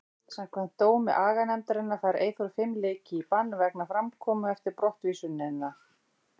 Samkvæmt dómi aganefndarinnar fær Eyþór fimm leiki í bann vegna framkomu eftir brottvísunina.